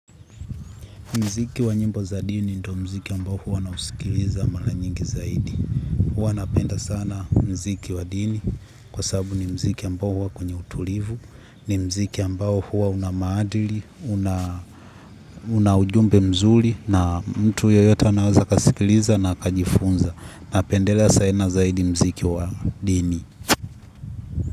Mziki wa nyimbo za dini ni ndo mziki ambao huwa nausikiliza mara nyingi zaidi. Huwa napenda sana mziki wa dini kwa sababu ni mziki ambao huwa kwenye utulivu, ni mziki ambao huwa una maadili, una ujumbe mzuri na mtu yoyote anaweza kasikiliza na kajifunza. Napendela saana zaidi mziki wa dini.